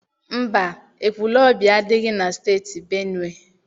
Mba, Ekwulobia adịghị na Steeti Benue.